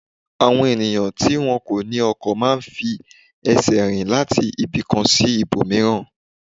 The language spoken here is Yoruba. Àwọn ènìyàn tí wọn kò ní ọkọ̀ má a ń fi ẹsẹ̀ rìn láti ibì kan sí ibòmíràn